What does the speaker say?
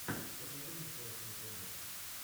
покажи мне классные подборки